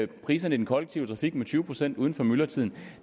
priserne i den kollektive trafik med tyve procent uden for myldretiden